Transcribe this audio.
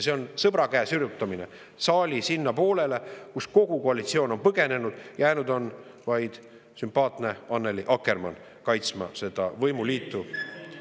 See on sõbrakäe sirutamine sinna saali poolele, kust kogu koalitsioon on põgenenud, jäänud on vaid sümpaatne Annely Akkermann kaitsma seda võimuliitu.